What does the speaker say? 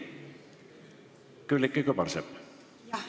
Külliki Kübarsepp!